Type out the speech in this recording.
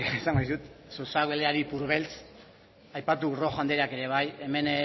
esango dizut zozoak beleari ipurbeltz aipatu rojo andereak ere bai hemen